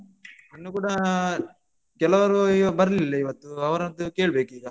ಇನ್ನು ಕೂಡಾ ಕೆಲವರು ಬರ್ಲಿಲ್ಲ ಇವತ್ತು ಅವರದ್ದು ಕೇಳ್ಬೇಕಿಗ.